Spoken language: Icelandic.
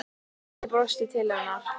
Ég brosti til hennar.